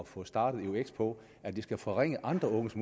få startet eux på at det skal forringe andre unges